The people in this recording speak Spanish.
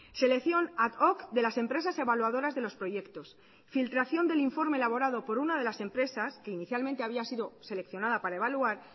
selección ad hoc de las empresas evaluadoras de los proyectos filtración del informe elaborado por una de las empresas que inicialmente había sido seleccionada para evaluar